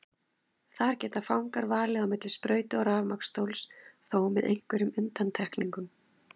Þar geta fangar valið á milli sprautu og rafmagnsstóls, þó með einhverjum undantekningum.